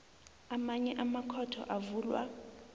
amanye amakhotho avulwa